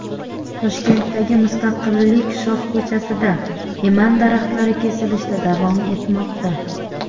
Toshkentdagi Mustaqillik shoh ko‘chasida eman daraxtlari kesilishda davom etmoqda .